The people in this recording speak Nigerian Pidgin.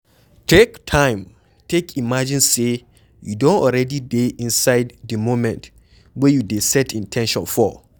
Take time take imagine sey you don already dey inside di moment wey you dey set in ten tion for